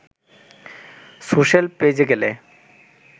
social page এ গেলে